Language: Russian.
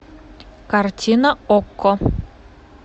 картина окко